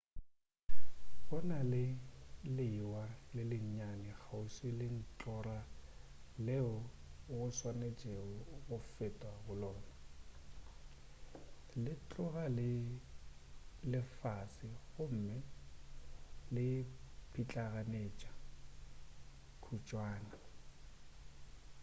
go na le lewa le lennyane kgauswi le ntlhora leo go swanetšwego go fetwa go lona le tloga le le fase gomme le pitlaganetša kutšwana